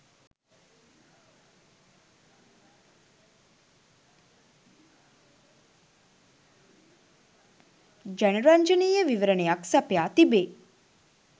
ජනරංජනීය විවරණයක් සපයා තිබේ